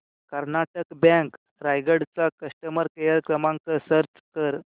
Karnataka bank Raigad चा customer care क्रमांक search कर